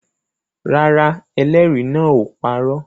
Rárá, ẹlẹ́rìí náà ò parọ́